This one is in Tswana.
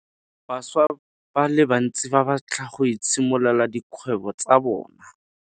Bašwa ba le bantsi ba batla go itshimololela dikgwebo tsa bona.